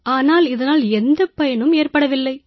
ஆனால் இதனால் எந்தப் பயனும் ஏற்படவில்லை